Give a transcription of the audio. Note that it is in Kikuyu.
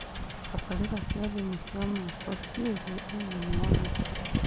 Tabarĩra cia thimũ cia moko-inĩ ciĩgie ũgima wa hakiri